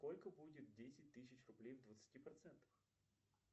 сколько будет десять тысяч рублей в двадцати процентах